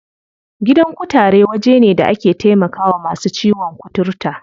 Gidan kutare waje ne da ake taimakawa masu ciwon kuturta.